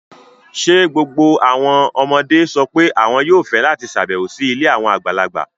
Ṣé gbogbo àwọn ọmọdé sọ pé àwọn yóò fẹ́ láti ṣàbẹ̀wò sí ilé àwọn àgbàlagbà?